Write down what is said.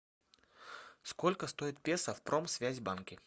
сколько стоит песо в промсвязьбанке